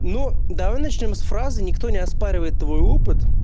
ну давай начнём с фразы никто не оспаривает твой опыт